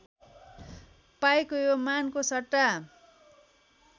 पाईको यो मानको सट्टा